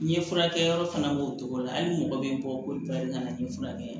N ye furakɛ yɔrɔ fana b'o cogo la hali mɔgɔ bɛ bɔ ka na ni furakɛ ye